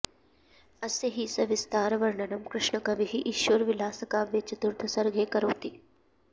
अस्य हि सविस्तर वर्णनं कृष्णकविः ईश्वरविलासकाव्ये चतुर्थ सर्गे करोति